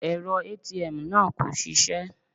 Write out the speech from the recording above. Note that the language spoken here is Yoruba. Èrọ ATM náà kò ṣisẹ́.